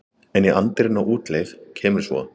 En í anddyrinu á útleið kemur svo